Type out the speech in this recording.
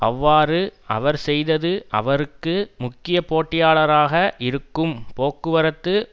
அவ்வாறு அவர் செய்தது அவருக்கு முக்கிய போட்டியாளராக இருக்கும் போக்குவரத்து